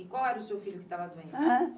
E qual era o seu filho que estava doente?